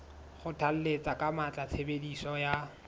kgothalletsa ka matla tshebediso ya